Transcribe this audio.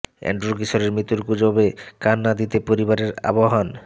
Andrew কিশোরের মৃত্যুর গুজবে কান না দিতে পরিবারের আহবান